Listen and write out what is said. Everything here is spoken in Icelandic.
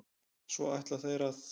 Svo ætla þeir að?